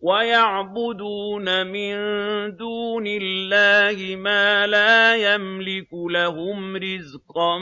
وَيَعْبُدُونَ مِن دُونِ اللَّهِ مَا لَا يَمْلِكُ لَهُمْ رِزْقًا